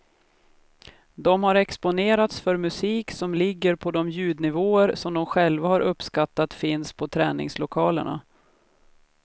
De har exponerats för musik som ligger på de ljudnivåer som de själva har uppskattat finns på träningslokalerna.